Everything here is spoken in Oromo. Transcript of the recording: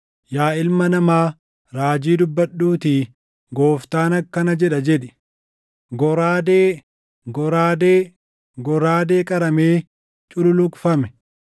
“Yaa ilma namaa, raajii dubbadhuutii, ‘Gooftaan akkana jedha’ jedhi: “ ‘Goraadee! Goraadee! Goraadee qaramee cululuqfame,